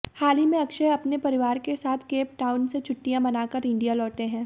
हाल ही में अक्षय अपने परिवार के संग केपटाउन से छुट्टियां मानकार इंडिया लौटे हैं